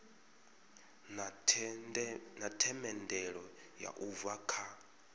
na themendelo u bva kha